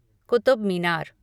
Qutub Minar